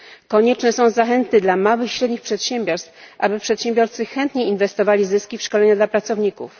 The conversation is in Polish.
Konieczne są zachęty dla małych i średnich przedsiębiorstw, aby przedsiębiorcy chętnie inwestowali zyski w szkolenia dla pracowników.